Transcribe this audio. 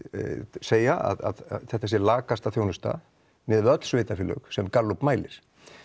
segja að þetta sé lakasta þjónusta miðað við öll sveitarfélög sem Gallup mælir